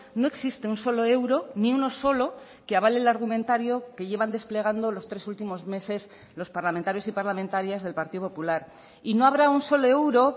no existe un solo euro ni uno solo que avale el argumentario que llevan desplegando los tres últimos meses los parlamentarios y parlamentarias del partido popular y no habrá un solo euro